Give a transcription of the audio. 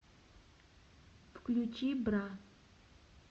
включи бра